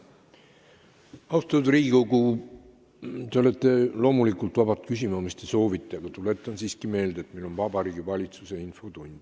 Austatud Riigikogu, te olete loomulikult vabad küsima, mida te soovite, kuid tuletan siiski meelde, et meil on Vabariigi Valitsuse infotund.